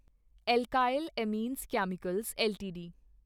alkyl amines chemicals LTD